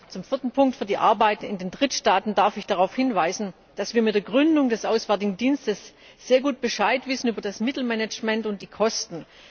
Zum vierten Punkt Für die Arbeit in den Drittstaaten darf ich darauf hinweisen, dass wir mit der Gründung des Auswärtigen Dienstes sehr gut Bescheid wissen über das Mittelmanagement und die Kosten.